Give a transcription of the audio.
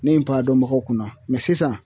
Ne ye n ta dɔnbagaw kunna mɛ sisan